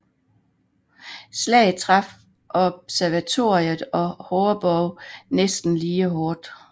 Slaget traf Observatoriet og Horrebow næsten lige hårdt